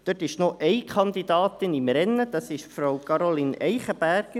Hier ist noch eine Kandidatin im Rennen, Frau Caroline Eichenberger.